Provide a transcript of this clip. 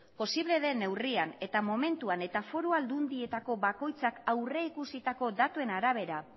posible den neurrian eta momentuan eta foru aldundietako bakoitzak aurrikusitako datuen arabera